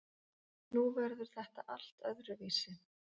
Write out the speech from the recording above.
Nú verður þetta allt öðruvísi.